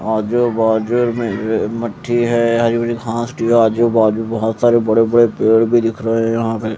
आजू बाजु में मिटटी है हरी भरी घास आजू बाजु में बोहोत सारे बड़े बड़े पेड़ भी दिख रहे है यहां पे--